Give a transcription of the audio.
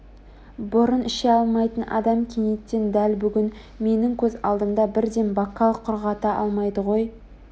бұрын іше алмайтын адам кенеттен дәл бүгін менің көз алдымда бірден бокал құрғата алмайды ғой